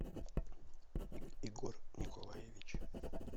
егор николаевич